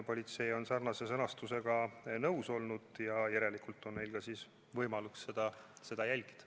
Politsei on selle sõnastusega nõus olnud ja järelikult on neil ka võimalus seda jälgida.